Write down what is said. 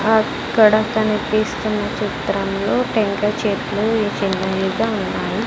అక్కడ కనిపిస్తున్న చిత్రంలో టెంకాయ చెట్లు ఉన్నాయి.